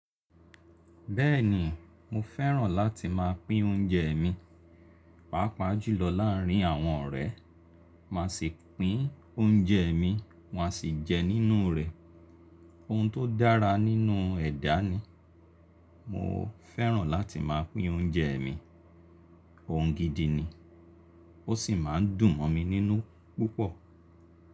Bẹ́ẹ̀ni mo fẹ́ràn láti máa pín oúnjẹ mi, pàápàá jùlọ láàárín àwọn ọ̀rẹ́. Màá sì pín oúnjẹ mi, wọn á sì jẹ nínú rẹ̀. Ohun tó dára nínú ẹ̀dá ni. Mo fẹ́ràn láti máa pín oúnjẹ mi. Ohun gidi ni. Ó sì máa ń dùn mọ́ mi nínú púpọ̀.